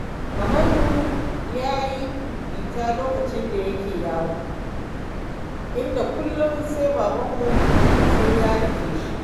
Kamalu ya yi fitina lokacin da yake yaro, inda kullum sai babanmu sai ya dake shi